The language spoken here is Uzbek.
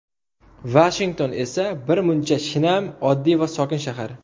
Vashington esa bir muncha shinam, oddiy va sokin shahar.